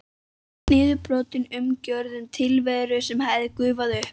Niðurbrotin umgjörð um tilveru sem hafði gufað upp.